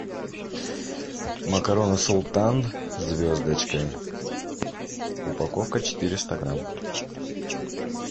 макароны султан звездочкой упаковка четыреста грамм